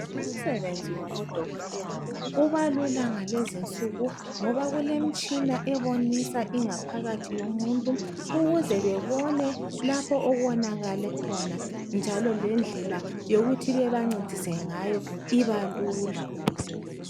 Umsebenzi wabodokotela ubalula ngalezinsuku ngoba kulemitshina ebonisa ingaphakathi yomuntu ukuze babone lapho okonakale khona njalo lendlela yokut bebancedise ngayo ibalula